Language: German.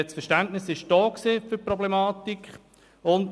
Das Verständnis für die Problematik war vorhanden.